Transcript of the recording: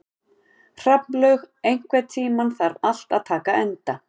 Hrafnlaug, einhvern tímann þarf allt að taka enda.